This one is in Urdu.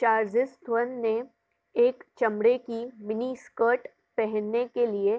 چارزیس تھون نے ایک چمڑے کی منی سکرٹ پہننے کے لئے